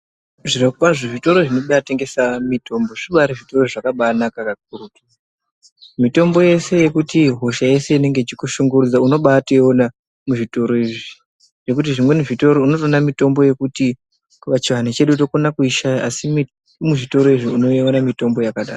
Zvirokwazvo zvitoro zvinotengesa mitombo zvibari zvitoro zvakabanaka mitombo yese yekuti hosha yese inenge ichikushungurudza unobatoiona muzvitoro izvi nekuti zvimweni zvitoro unotoona mitombo yekuti pachiantu chedu tokona kuishaya asi muzvitoro izvi unoiona mitombo yakadaro.